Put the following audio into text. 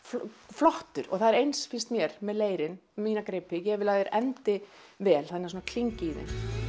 flottur og það er eins finnst mér með leirinn mína gripi ég vil að þeir endi vel þannig að það svona klingi hér